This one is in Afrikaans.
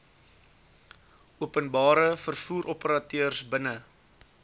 openbare vervoeroperateurs binne